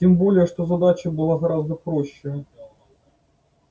тем более что задача была гораздо проще